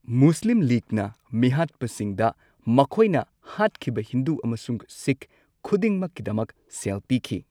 ꯃꯨꯁꯂꯤꯝ ꯂꯤꯒꯅ ꯃꯤꯍꯥꯠꯄꯁꯤꯡꯗ ꯃꯈꯣꯢꯅ ꯍꯥꯠꯈꯤꯕ ꯍꯤꯟꯗꯨ ꯑꯃꯁꯨꯡ ꯁꯤꯈ ꯈꯨꯗꯤꯡꯃꯛꯀꯤꯗꯃꯛ ꯁꯦꯜ ꯄꯤꯈꯤ꯫